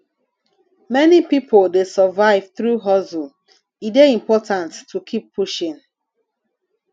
many pipo dey survive through hustle e dey important to keep pushing